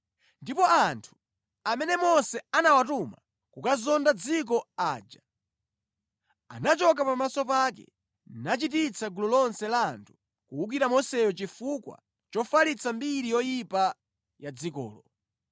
Ndipo anthu amene Mose anawatuma kukazonda dziko aja anachoka pamaso pake nachititsa gulu lonse la anthu kuwukira Moseyo chifukwa chofalitsa mbiri yoyipa ya dzikolo.